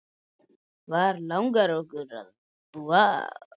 Hvar langar okkur að búa?